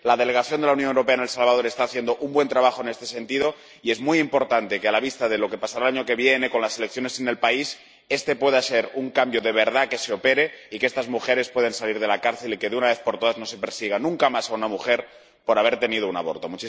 La delegación de la Unión Europea en El Salvador está haciendo un buen trabajo en este sentido y es muy importante que, a la vista de lo que pasará el año que viene con las elecciones en el país, este pueda ser un cambio de verdad que se opere y que estas mujeres puedan salir de la cárcel y que, de una vez por todas, no se procese nunca más a una mujer por haber tenido un aborto.